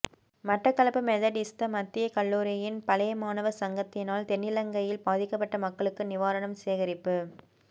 Batticaloa Methodist மத்திய கல்லூரியின் பழையமாணவ சங்கத்தினால் தென்னிலங்கையில் பாதிப்பட்ட மக்களுக்கு நிவாரணம் சேகரிப்பு